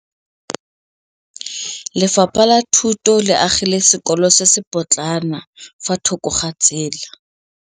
Lefapha la Thuto le agile sekôlô se se pôtlana fa thoko ga tsela.